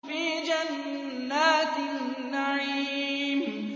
فِي جَنَّاتِ النَّعِيمِ